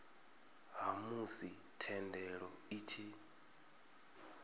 ha musi thendelo i tshi